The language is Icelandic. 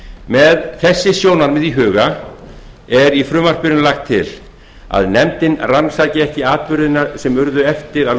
með þessi sjónarmið í huga er í frumvarpinu lagt til að nefndin rannsaki ekki atburðina sem urðu eftir að